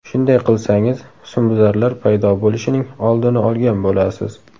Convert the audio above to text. Shunday qilsangiz husnbuzarlar paydo bo‘lishining oldini olgan bo‘lasiz.